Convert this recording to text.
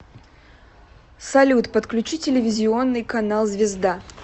салют подключи телевизионный канал звезда